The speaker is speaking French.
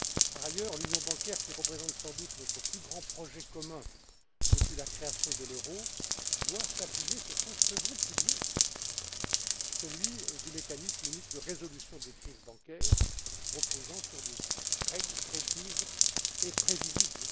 Par ailleurs, l'union bancaire qui représente sans doute notre plus grand projet commun depuis la création de l'euro doit s'appuyer sur son second pilier celui du mécanisme unique de résolution des crises bancaires, qui repose sur des règles précises et prévisibles.